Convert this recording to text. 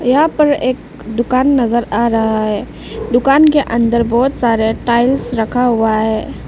यहां पर एक दुकान नजर आ रहा है दुकान के अंदर बहोत सारा टाइल्स रखा हुआ है।